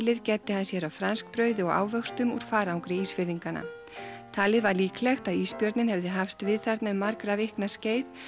gæddi hann sér á franskbrauði og ávöxtum úr farangri Ísfirðinganna talið var líklegt að ísbjörninn hefði hafst við þarna um margra vikna skeið